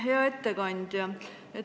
Hea ettekandja!